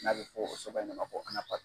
N'a bɛ fɔ' o soba in ne ma ko